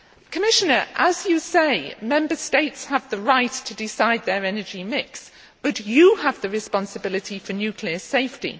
Commissioner, as you say, Member States have the right to decide their energy mix, but you have the responsibility for nuclear safety.